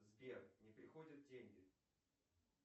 сбер не приходят деньги